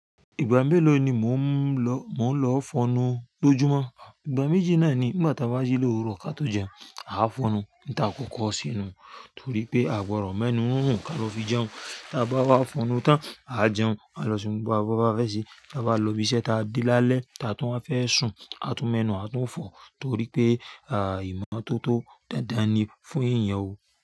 Ìgbà mélòó ni mò ń lọ, mò ń lọ fọnu? Lójúmọ́. Ìgbà méjì náà nígbà tá bá jí l'òwúrọ̀ ká tó jẹun, a fọnu ń ta kọ́kọ ṣe nú torí pé a gbọ̀dọ̀ mẹ́nu rúrùn kí a lọ fi jẹun. Tí a bá wá fọnu tán, a jẹun, a lọ ṣeu gbogbo tó bá fẹ́ ṣe, tí a bá lọ ibi iṣẹ́ ta dé lálẹ́, tí a tún wa fẹ́ sùn, a tún mẹ́nu, a tún fọ torí pé, ìmọ́tótó dandan nì fún èèyàn o.